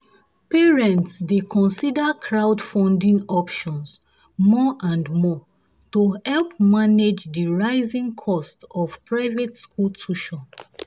parents dey consider crowdfunding options more and more to help manage help manage the rising costs of private school tuition.